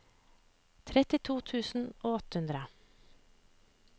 trettito tusen og åtte hundre